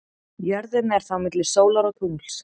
Jörðin er þá milli sólar og tungls.